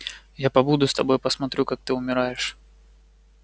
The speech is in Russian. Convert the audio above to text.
я побуду с тобой посмотрю как ты умираешь